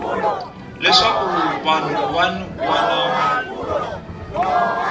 leswaku vanhu van wana va